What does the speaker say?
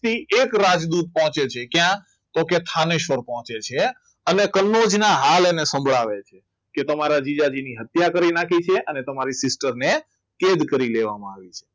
તે એક રાજદૂત પહોંચે છે ક્યાં? તો કે થાનેશ્વર પહોંચે છે અને કનોજ ના હાલ એને સંભળાવે છે કે તમારા જીજાજીની હત્યા કરી નાખી છે અને તમારી sister ને કેદ કરી લેવામાં આવી છે